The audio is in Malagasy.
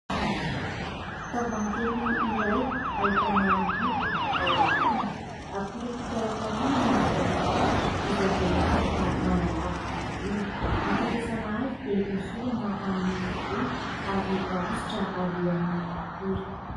Tavohangy kely iray ahitana menaka ny ao anatiny. Akora fikarakarana ny taovolo izay voalaza fa manalava ny volo. Ny fampiasana azy dia hosorana amin'ny volo ary ahositra alohan'ny hatory.